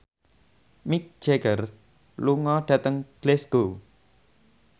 Mick Jagger lunga dhateng Glasgow